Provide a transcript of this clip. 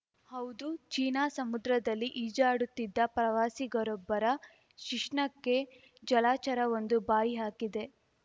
ಹೌದು ಚೀನಾ ಸಮುದ್ರದಲ್ಲಿ ಈಜಾಡುತ್ತಿದ್ದ ಪ್ರವಾಸಿಗರೊಬ್ಬರ ಶಿಶ್ನಕ್ಕೆ ಜಲಚರವೊಂದು ಬಾಯಿ ಹಾಕಿದೆ